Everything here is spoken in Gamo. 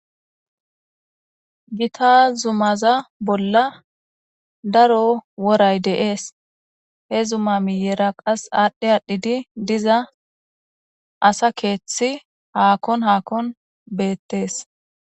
gita zumaza bolla daro woray de7es he zuma miyera qas aadhdhi aadhidi diza asa keeththi haakon haakon beettees